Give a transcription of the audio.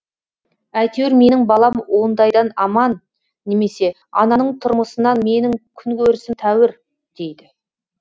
әйтеуір менің балам ондайдан аман немесе ананың тұрмысынан менің күнкөрісім тәуір дейді